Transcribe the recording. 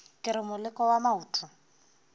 ke re moleko wa maoto